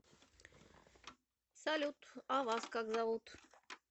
салют а вас как зовут